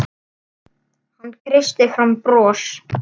Hann kreisti fram bros.